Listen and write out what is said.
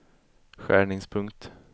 skärningspunkt